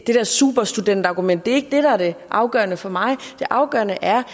det der superstudentargument er ikke det der er det afgørende for mig det afgørende er